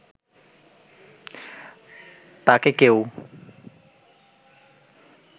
তাকে কেউ